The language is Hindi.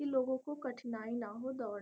इन लोगों को कठिनाई ना हो दौड़ --